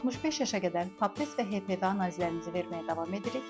65 yaşa qədər Pap test və HPV analizlərimizi verməyə davam edirik.